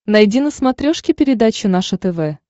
найди на смотрешке передачу наше тв